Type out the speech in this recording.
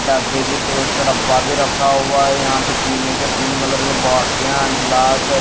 डब्बे भी तो उसका डब्बा भी रखा हुआ है यहां पे पीने के पिंक कलर का बॉटलिया है गिलास है।